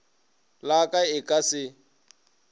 la ka e ka se